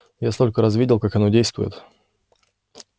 я столько раз видел как оно действует